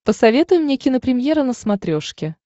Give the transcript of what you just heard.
посоветуй мне кинопремьера на смотрешке